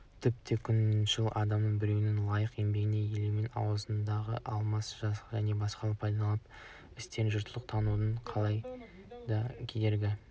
тіпті күншіл адамның біреудің лайықты еңбегін елемеуі ауызға да алмауы және басқалардың пайдалы істерін жұртшылықтың тануына қалайда кедергі